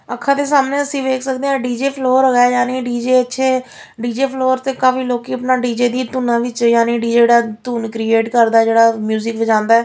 ਅੱਖਾਂ ਦੇ ਸਾਹਮਣੇ ਅਸੀਂ ਵੇਖ ਸਕਦੇ ਆ ਡੀ_ਜੇ ਫਲੋਰ ਹੋ ਗਿਆ ਡੀ_ਜੇ ਅੱਛੇ ਡੀ_ਜੇ ਫਲੋਰ ਤੇ ਕਾਫੀ ਲੋਕੀ ਆਪਣਾ ਡੀ_ਜੇ ਦੀ ਧੁਨਾਂ ਵਿੱਚ ਯਾਨੀ ਡੀ_ਜੇ ਜਿਹੜਾ ਧੁਨ ਕ੍ਰੀਏਟ ਕਰਦਾ ਜਿਹੜਾ ਮਿਊਜਿਕ ਵਜਾਉਂਦਾ --